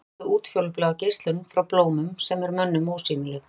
þannig sjá þau útfjólubláa geislun frá blómum sem er mönnum ósýnileg